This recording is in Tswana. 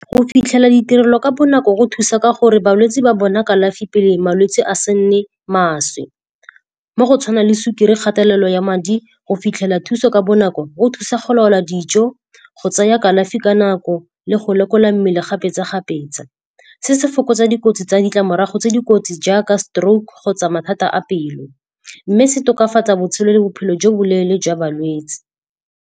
Go fitlhelela ditirelo ka bonako go thusa ka gore balwetse ba bona kalafi pele malwetse a se nne maswe. Mo go tshwana le sukiri, kgatelelo ya madi. Go fitlhela thuso ka bonako go thusa go laola dijo, go tsaya kalafi ka nako le go lekola mmele kgapetsa-kgapetsa. Se se fokotsa dikotsi tsa ditlamorago tse dikotsi jaaka stroke kgotsa mathata a pelo. Mme se tokafatsa botshelo le bophelo jo bo leele jwa balwetse.